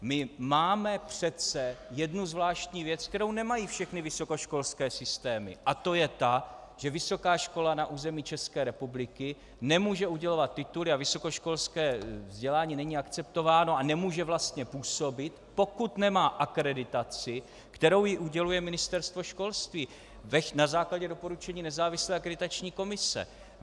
My máme přece jednu zvláštní věc, kterou nemají všechny vysokoškolské systémy, a to je ta, že vysoká škola na území České republiky nemůže udělovat tituly a vysokoškolské vzdělání není akceptováno a nemůže vlastně působit, pokud nemá akreditaci, kterou jí uděluje Ministerstvo školství na základě doporučení nezávislé akreditační komise.